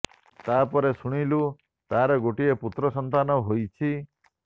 ତା ପରେ ଶୁଣିଲୁ ତାର ଗୋଟିଏ ପୁତ୍ର ସନ୍ତାନ ହୋଇଛି